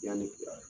Yanni